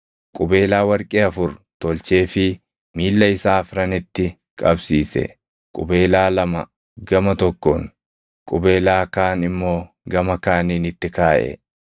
Qubeelaa warqee afur tolcheefii miilla isaa afranitti qabsiise; qubeelaa lama gama tokkoon, qubeelaa kaan immoo gama kaaniin itti kaaʼe.